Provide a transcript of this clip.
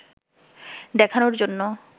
দেখানোর জন্য